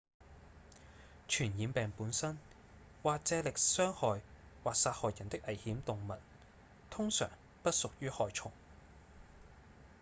傳染病本身或藉力傷害或殺害人的危險動物通常不屬於害蟲